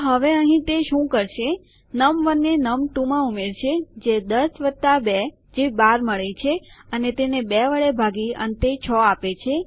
તો હવે અહીં તે શું કરશે num1ને num2માં ઉમેરશે જે ૧૦૨ જે ૧૨ મળે છે અને તેને ૨ વડે ભાગી અંતે ૬ આપે છે